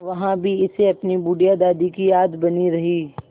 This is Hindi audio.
वहाँ भी इसे अपनी बुढ़िया दादी की याद बनी रही